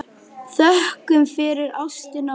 Þökkum fyrir ástina og lífið.